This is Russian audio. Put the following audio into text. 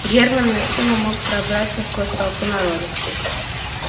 германн насилу мог пробраться сквозь толпу народа